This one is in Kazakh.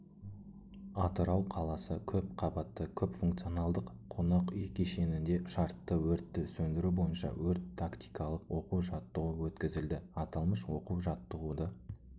атырау қаласы көпқабатты көпфункционалдық қонақ үй кешенінде шартты өртті сөндіру бойынша өрт-тактикалық оқу-жаттығу өткізілді аталмыш оқу-жаттығуды